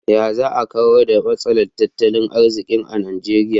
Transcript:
Ya za a kawar da matsalar tattalin arziki a Nigeria?